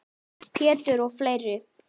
Pétur og fleiri.